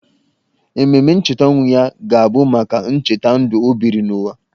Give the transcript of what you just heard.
Ememe ncheta ọnwụ ya ga-abụ maka ncheta ndụ o biri n’ụwa.